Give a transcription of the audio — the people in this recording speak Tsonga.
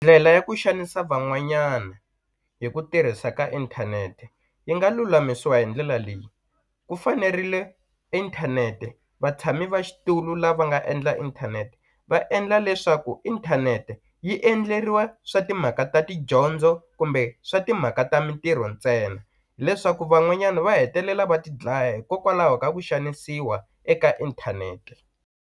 Ndlela ya ku xanisa van'wanyana hi ku tirhisa ka inthanete yi nga lulamisiwa hi ndlela leyi ku fanerile inthanete vatshami va xitulu lava nga endla inthanete va endla leswaku inthanete yi endleriwa swa timhaka ta tidyondzo kumbe swa timhaka ta mintirho ntsena leswaku van'wanyana va hetelela va tidlaya hikokwalaho ka ku xanisiwa eka inthanete.